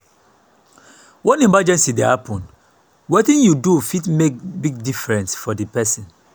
when emergency happen wetin yu do fit mek big difference for di pesin.